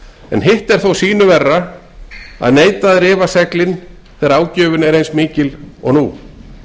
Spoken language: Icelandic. en hitt er þó sýnu verra að neita að rifa seglin þegar ágjöfin er mikil eins og nú